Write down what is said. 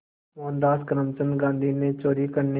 मोहनदास करमचंद गांधी ने चोरी करने